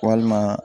Walima